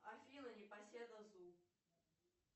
афина непоседа зу